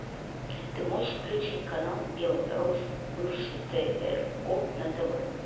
ты можешь включить канал белрос бывший тро на тв